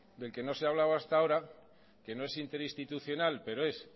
del que no se hablaba hasta ahora que no es interinstitucional pero es